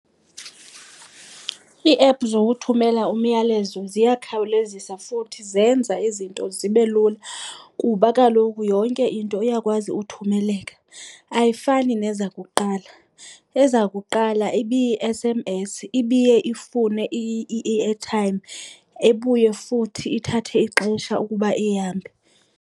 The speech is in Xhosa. Ii-app zokuthumela umyalezo ziyakhawulezisa futhi zenza izinto zibe lula kuba kaloku yonke into iyakwazi uthumeleka. Ayifani nezakuqala, ezakuqala ibiyi-S_M_S, ibiye ifune i-airtime ibuye futhi ithathe ixesha ukuba ihambe.